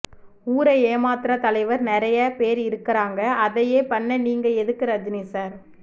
ஊற ஏமாத்ர தலைவர் நெறைய பேர் இரருக்காங்க அதையே பண்ண நீங்க எதுக்கு ரஜினி சார்